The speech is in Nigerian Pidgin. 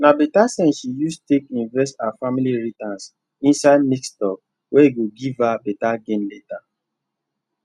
na better sense she use take invest her family inheritance inside mixed stock wey go give her better gain later